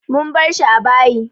Mun bar shi a bayi.